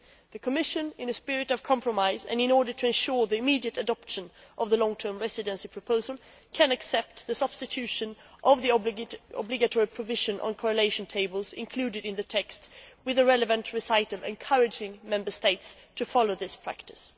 The Commission, in a spirit of compromise and in order to ensure the immediate adoption of the Long Term Residence proposal, can accept the substitution of the obligatory provision on correlation tables included in the text with a relevant recital encouraging Member States to follow this practice.